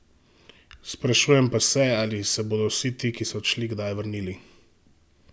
Sprašujem pa se, ali se bodo vsi ti, ki so odšli, kdaj vrnili?